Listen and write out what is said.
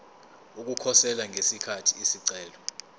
ukukhosela ngesikhathi isicelo